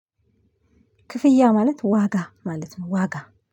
ክፍያ ማለት ዋጋ ማለት ነው። ዋጋ